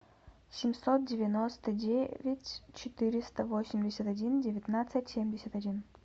семьсот девяносто девять четыреста восемьдесят один девятнадцать семьдесят один